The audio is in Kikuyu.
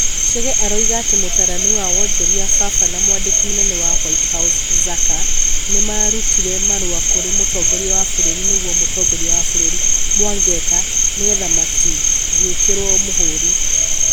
Chege aroiga atĩ mũtaarani wa wonjoria Baba na mwandiki mũnene wa White House Zaka nĩ marutire marũa kũrĩ mũtongoria wa bururi nĩgwo mũtongoria wa bururi Mwangeka nĩgetha matigĩkĩrwo mũhũri.